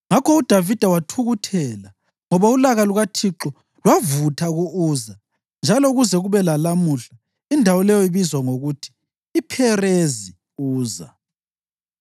Ngakho uDavida wathukuthela ngoba ulaka lukaThixo lwavutha ku-Uza, njalo kuze kube lalamuhla indawo leyo ibizwa ngokuthi yiPherezi Uza.